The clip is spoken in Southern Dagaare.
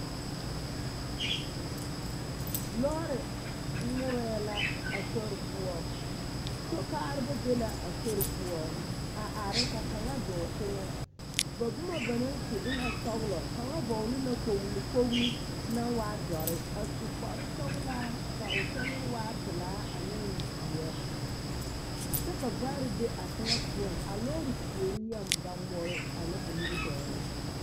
Lɔɔre ŋmorɛɛ la a sori poɔ, sokaareba be la a sori poɔ a are ka kaŋa dɔɔ teŋɛ, ba boma banaŋ su e na sɔgelɔ, kaŋa vɔgele la kpogili, kpogili naŋ waa dɔre, a su kpare sɔgelaa ka o kyɛlee waa pelaa ane zeɛ kyɛ ka vaare be a teŋɛ poɔŋ, a lɔɔre puori yɛŋ ba ŋmore a ŋa a nimitɔɔre.